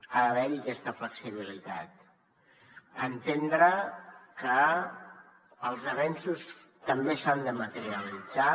ha d’haver hi aquesta flexibilitat entendre que els avenços també s’han de materialitzar